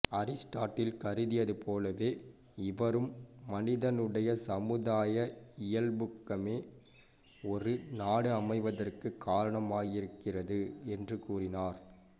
Aristotle கருதியது போலவே இவரும் மனிதனுடைய சமுதாய இயல்பூக்கமே ஒரு நாடு அமைவதற்குக் காரணமாயிருக்கிறது என்று கூறினார்